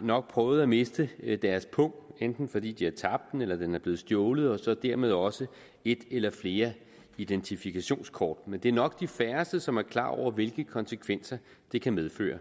nok prøvet at miste deres pung enten fordi de har tabt den eller den er blevet stjålet og dermed også et eller flere identifikationskort men det er nok de færreste som er klar over hvilke konsekvenser det kan medføre